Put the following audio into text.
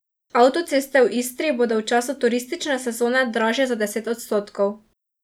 Avtoceste v Istri bodo v času turistične sezone dražje za deset odstotkov.